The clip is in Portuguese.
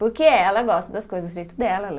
Porque ela gosta das coisas do jeito dela, ela